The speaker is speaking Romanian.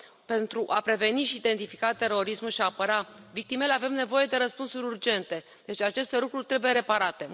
Pentru a preveni și identifica terorismul și apăra victimele, avem nevoie de răspunsuri urgente, deci aceste lucruri trebuie reparate.